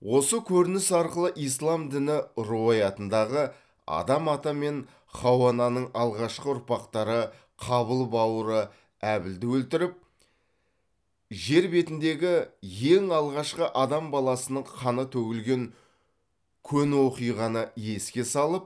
осы көрініс арқылы ислам діні руаятындағы адам ата мен хауа ананың алғашқы ұрпақтары қабыл бауыры әбілді өлтіріп жер бетіндегі ең алғашқы адам баласының қаны төгілген көне оқиғаны еске салып